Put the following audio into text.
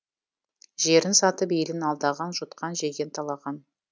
жерін сатып елін алдаған жұтқан жеген талаған